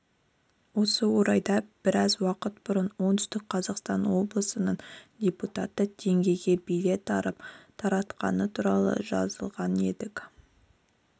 осы орайда біраз уақыт бұрын оңтүстік қазақстан облысының депутаты теңгеге билет алып таратқаны туралы жазылған едік